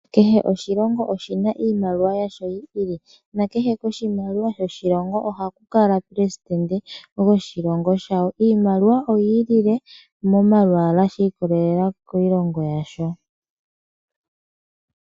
Kehe oshilongo oshina iimaliwa yasho yi ili, nakehe koshimaliwa shoshilongo ohaku kala omuleli goshilongo shawo. Iimaliwa oyi ilile momalwaala shi ikolelela kiilongo yasho.